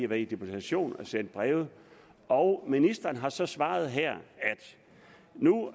været i deputation og har sendt breve og ministeren har så svaret her at nu